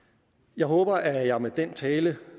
jeg håber at jeg med den tale